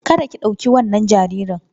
Kada ki ɗauki wannan jaririn!